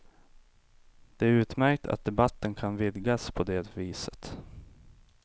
Det är utmärkt att debatten kan vidgas på det viset.